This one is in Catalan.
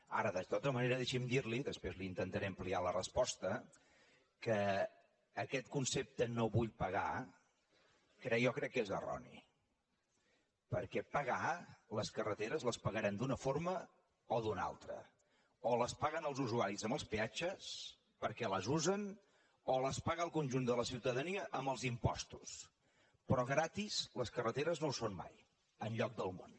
ara de tota manera deixi’m dir li després li intentaré ampliar la resposta que aquest concepte no vull pagar jo crec que és erroni perquè pagar les carreteres les pagarem d’una forma o d’una altra o les paguen els usuaris amb els peatges perquè les usen o les paga el conjunt de la ciutadania amb els impostos però gratis les carreteres no ho són mai enlloc del món